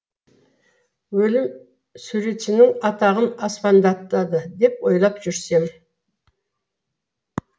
өлім суретшінің атағын аспандатады деп ойлап жүрсем